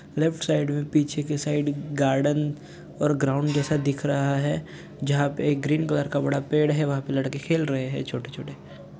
Left side में पीछे के साइड गार्डन और ग्राउंड जैसा दिख रहा है जहाँ पे एक ग्रीन कलर का बड़ा पेड़ है वहां पे लड़के खेल रहे है छोटे -छोटे।